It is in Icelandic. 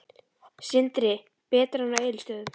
Sindri: Betra en á Egilsstöðum?